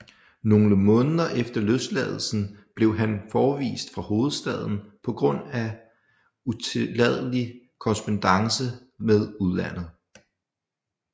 Nogle måneder efter løsladelsen blev han forvist fra hovedstaden på grund af utilladelig korrespondance med udlandet